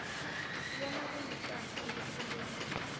bona kulicala ukukhuluma